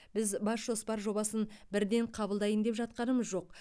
біз бас жоспар жобасын бірден қабылдайын деп жатқанымыз жоқ